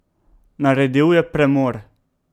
Naredil je premor.